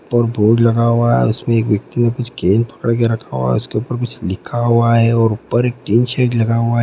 ऊपर बोर्ड लगा हुआ है उसमें एक व्यक्ति ने कुछ पकड़ के रखा हुआ है उसके ऊपर कुछ लिखा हुआ है और ऊपर एक टीन शेड लगा हुआ है।